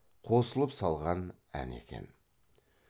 қосылып салған ән екен